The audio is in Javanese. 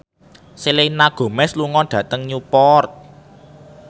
Selena Gomez lunga dhateng Newport